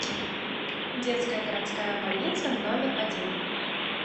детская городская больница номер один